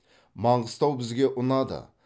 маңғыстау бізге ұнады